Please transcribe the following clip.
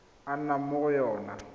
a nnang mo go yona